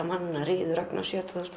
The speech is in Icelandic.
manna ríður Ragnars